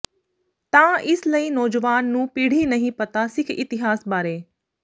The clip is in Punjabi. ਤਾਂ ਇਸ ਲਈ ਨੌਜਵਾਨ ਨੂੰ ਪੀੜ੍ਹੀ ਨਹੀਂ ਪਤਾ ਸਿੱਖ ਇਤਿਹਾਸ ਬਾਰੇ